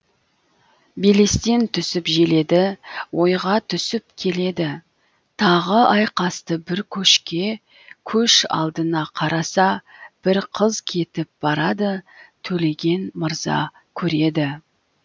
белестен түсіп желеді ойға түсіп келеді тағы айқасты бір көшке көш алдына қараса бір қыз кетіп барады төлеген мырза көреді